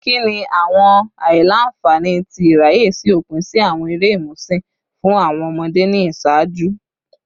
Kini awọn aila-nfani ti iraye si opin si awọn ere imusin fun awọn ọmọde ni iṣaaju?